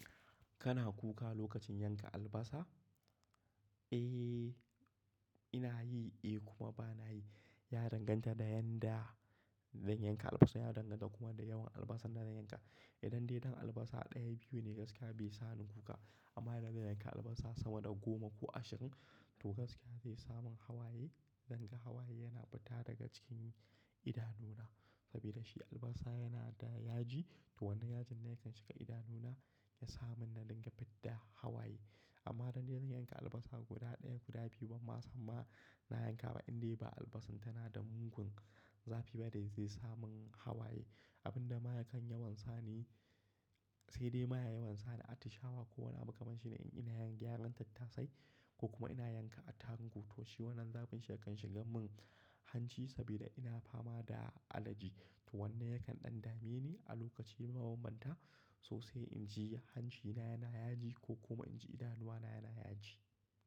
Kana kuka lokacin yanka albasa? Eh, ina yi, eh kuma ba na yi. Ya danganta da yanda zan yanka albasa, ya danganta kuma da yawan albasan da zan yanka. Idan dai ɗan albasa ɗaya, biyu ne gaskiya bai sa ni kuka. Amma idan zan yanka albasa sama da goma ko ashirin, to gaskiya zai sa mun hawaye. Zan ga hawaye yana fita daga cikin idanuna sabida shi albasa yana da yaji to wannan yajin ne yakan shiga idanuna ya sa mun na dinga fidda hawaye. Amma idan dai zan yanka albasa guda ɗaya, guda biyu, ban ma san ma. Na yanka ba indai ba albasan tana da mugun zafi ba dai zai sa mun hawaye. Abin da ma yakan yawon sa ne sai dai ma ya yi wansa ne a tishawa ko wani makamashi ne in ina yin gyaran tattasai ko kuma ina yanka attaruhun ko toshi wannan zafin shi yakan shiga mun hanci sabida ina fama da alergy. To wannan yakan ɗan dame ni a lokaci ma banbanta so sai inji hancina yana yaji ko kuma inji idanuwa na yana yaji.